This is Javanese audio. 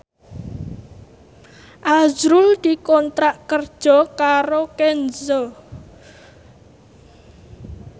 azrul dikontrak kerja karo Kenzo